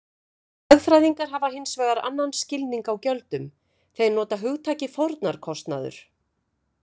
Hagfræðingar hafa hins vegar annan skilning á gjöldum, þeir nota hugtakið fórnarkostnaður.